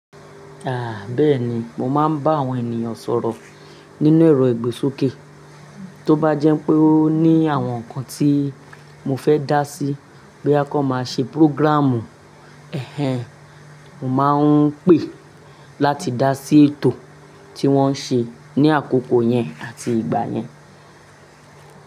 Ah, bẹ́ẹ̀ni, mo máa ń bá àwọn ènìyàn sọ̀rọ̀ nínú ẹ̀rọ ìgbésókè. Tó bá jẹ́ pé ó ní àwọn nǹkan tí mo fẹ́ dá sí boya kon máa ṣe programme ẹ̀hen, mo máa ń pè láti dá sí ètò tí wón ń ṣe ní àkókò yẹn àti ìgbà yẹn.